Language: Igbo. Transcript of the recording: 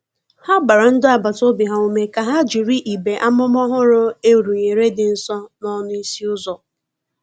Ha gbara ndi agbata obi ha ume ka ha jịrị igbe amụma ọhụrụ a rụnyere di nso n'ọnụ ịsị uzọ.